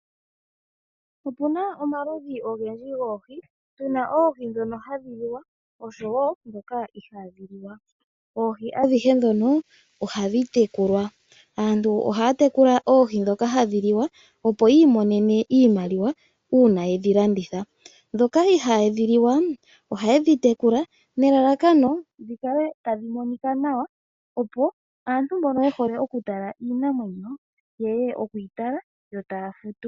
Opu na omaludhi ogendji goohi, tu na oohi ndhono hadhi liwa osho wo ndhoka ihaadhi liwa. Oohi adhihe ndhono ohadhi tekulwa. Aantu ohaya tekula oohi ndhoka hadhi liwa, opo yi imonene iimaliwa uuna ye dhi landitha. Ndhoka ihadhi liwa ohaye dhi tekula nelalakano dhi kale tadhi monika nawa, opo aantu mbono ye hole okutala iinamwenyo ye ye okuyi tala yo taya futu.